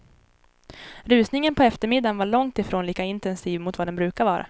Rusningen på eftermiddagen var långt ifrån lika intensiv mot vad den brukar vara.